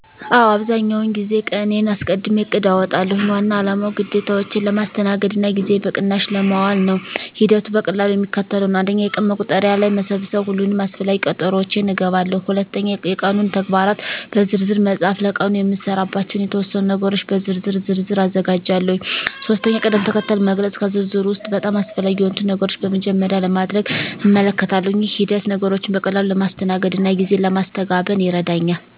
አዎ፣ አብዛኛውን ጊዜ ቀንዴን አስቀድሜ እቅድ አውጣለሁ። ዋና አላማው ግዴታዎቼን ለማስተናገድ እና ጊዜዬን በቅናሽ ለማዋል ነው። ሂደቱ በቀላሉ የሚከተለው ነው፦ 1. የቀን መቁጠሪያ ላይ መሰብሰብ ሁሉንም አስፈላጊ ቀጠሮዎቼን እገባለሁ። 2. የቀኑን ተግባራት በዝርዝር መፃፍ ለቀኑ የምሰራባቸውን የተወሰኑ ነገሮች በዝርዝር ዝርዝር አዘጋጃለሁ። 3. ቅድም-ተከተል መግለጽ ከዝርዝሩ ውስጥ በጣም አስፈላጊ የሆኑትን ነገሮች በመጀመሪያ ለማድረግ እመልከታለሁ። ይህ ሂደት ነገሮችን በቀላሉ ለማስተናገድ እና ጊዜ ለማስተጋበን ይረዳኛል።